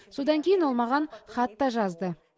содан кейін ол маған хат та жазды